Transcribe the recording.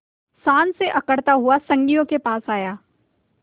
शान से अकड़ता हुआ संगियों के पास आया